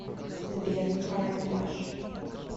сбер карандаш